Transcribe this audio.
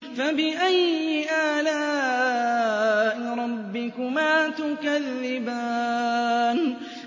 فَبِأَيِّ آلَاءِ رَبِّكُمَا تُكَذِّبَانِ